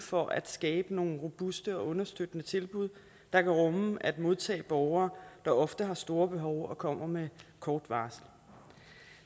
for at skabe nogle robuste og understøttende tilbud der kan rumme at modtage borgere der ofte har et stort behov og kommer med kort varsel